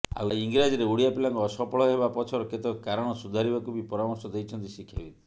ଆଉ ଇଂରାଜୀରେ ଓଡ଼ିଆ ପିଲାଙ୍କ ଅସଫଳ ହେବା ପଛର କେତେକ କାରଣ ସୁଧାରିବାକୁ ବି ପରାମର୍ଶ ଦେଇଛନ୍ତି ଶିକ୍ଷାବିତ୍